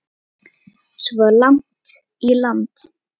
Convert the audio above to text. Svo langt inn í landi?